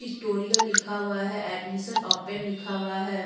Tutorial लिखा हुआ है एडमिशन ओपन लिखा हुआ है।